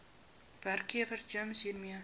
werkgewer gems hiermee